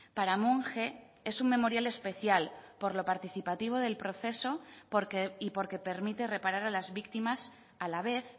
para monge es un memorial especial por lo participativo del proceso y porque permite reparar a las víctimas a la vez